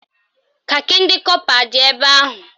Kakị ndị kọpa adị ebe ahụ?